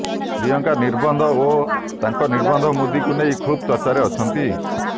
ପ୍ରିୟଙ୍କା ନିର୍ବନ୍ଧ ଓ ତାଙ୍କ ନିର୍ବନ୍ଧ ମୁଦିକୁ ନେଇ ଖୁବ ଚର୍ଚ୍ଚାରେ ଅଛନ୍ତି